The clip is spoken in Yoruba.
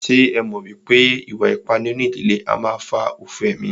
Ṣé ẹ mọ̀ wípé ìwà ipá nínú ìdílé a máà fà òfò emí?